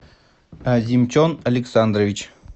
азимчон александрович